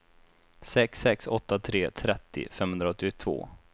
sex sex åtta tre trettio femhundraåttiotvå